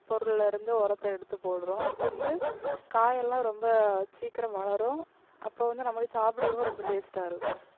பொருள்ல இருந்து உரத்தை எடுத்து போடுறோம். அப்ப வந்து காயெல்லாம் ரொம்ப சீக்கிரம் வளரும். அப்போ வந்து நமக்கு சாப்பிடுறதுக்கும் ரொம்ப taste ஆ இருக்கும்.